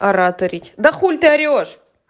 ораторить да хули ты орешь